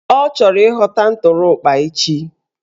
Ọ chọrọ ịghọta ụtụrụkpa echi